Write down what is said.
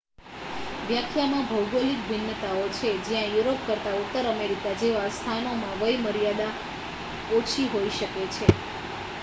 વ્યાખ્યામાં ભૌગોલિક ભિન્નતાઓ છે જ્યાં યુરોપ કરતાં ઉત્તર અમેરિકા જેવા સ્થાનોમાં વય મર્યાદા ઓછી હોઈ શકે છે